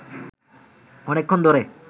অনেকক্ষণ ধরে